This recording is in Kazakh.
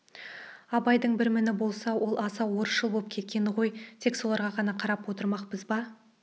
абайдың бір міні болса ол аса орысшыл боп кеткені ғой тек соларға ғана қарап отырмақпыз ба